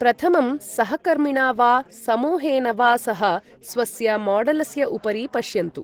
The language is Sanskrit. प्रथमं सहकर्मिणा वा समूहेन वा सह स्वस्य मॉडलस्य उपरि पश्यन्तु।